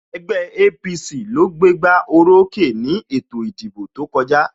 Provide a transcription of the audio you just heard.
Ẹgbẹ́ APC ló gbé gbá orókè ni ètò ìdìbò tó kọjá